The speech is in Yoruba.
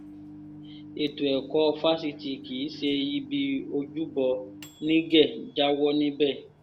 ètò ẹ̀kọ́ fásitì kì í ṣe ibi ojúbọ nígẹ̀ jáwọ́ níbẹ̀